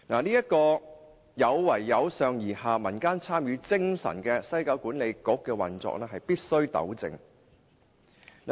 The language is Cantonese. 這個有違"由上而下，民間參與"精神的西九管理局的運作必須予以糾正。